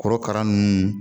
Korokara ninnu